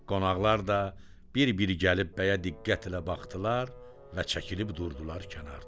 Qonaqlar da bir-bir gəlib bəyə diqqətlə baxdılar və çəkilib durdular kənarda.